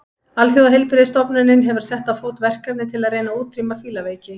Alþjóðaheilbrigðisstofnunin hefur sett á fót verkefni til að reyna að útrýma fílaveiki.